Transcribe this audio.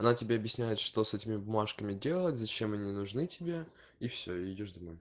она тебе объясняет что с этими бумажками делать зачем они нужны тебе и всё идёшь домой